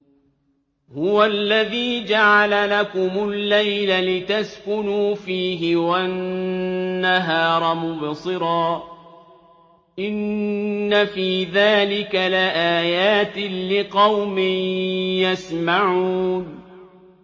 هُوَ الَّذِي جَعَلَ لَكُمُ اللَّيْلَ لِتَسْكُنُوا فِيهِ وَالنَّهَارَ مُبْصِرًا ۚ إِنَّ فِي ذَٰلِكَ لَآيَاتٍ لِّقَوْمٍ يَسْمَعُونَ